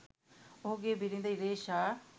ඔහුගේ බිරිඳ ඉරේෂා